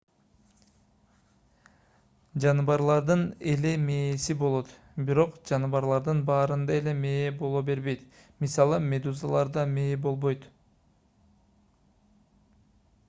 жаныбарлардын эле мээси болот бирок жаныбарлардын баарында эле мээ боло бербейт; мисалы медузаларда мээ болбойт